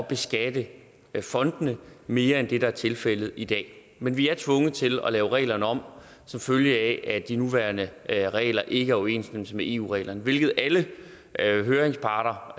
beskatte fondene mere end det der er tilfældet i dag men vi er tvunget til at lave reglerne om som følge af at de nuværende regler ikke er i overensstemmelse med eu reglerne hvilket alle høringsparter